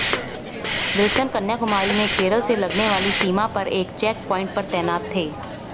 Wilson Kanyakumari में केरल से लगने वाली सीमा पर एक चेक प्वाइंट पर तैनात थे